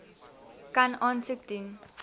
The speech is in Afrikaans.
kan aansoek doen